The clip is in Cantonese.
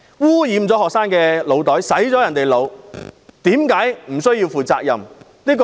污染了學生的腦袋，令他們被"洗腦"，為何不需要負責任？